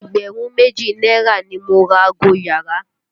Ẹgbẹ̀rún méjì náírà ni mo ra ago iyàrá.